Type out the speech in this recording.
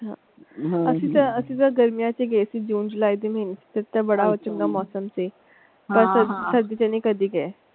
ਅਸੀਂ ਤਾਂ ਅਸੀਂ ਤਾਂ ਗਰਮੀਆਂ ਚ ਹੀ ਗਏ ਸੀ ਜੂਨ ਜੁਲਾਈ ਦੇ ਮਹੀਨੇ ਚ ਤੇ ਬੜਾ ਚੰਗਾ ਮੌਸਮ ਸੀ ਹਾਂ ਹਾਂ ਸਰਦੀ ਚ ਨੀ ਕਦੀ ਗਏ।